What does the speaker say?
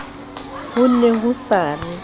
ho ne ho sa re